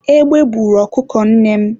egbe buru ọkụkọ nnem